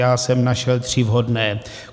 Já jsem našel tři vhodné.